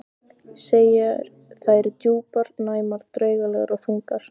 Segir þær djúpar, næmar, draugalegar og þungar.